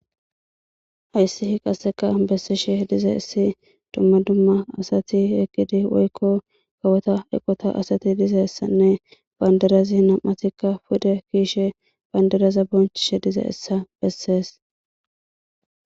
Hayssihi qasseka bessishe diza issi dumma dumma asati eqgidi woykko kawota eqota asati dizeessanne bandarazi nam'atikka pude kiishe bandaraza bonchishe dize issa bessees.